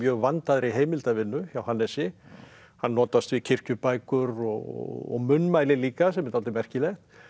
vandaðri heimildavinnu hjá Hannesi hann notast við kirkjubækur og munnmæli líka sem er dálítið merkilegt